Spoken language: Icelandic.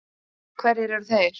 Hverjir eru þeir?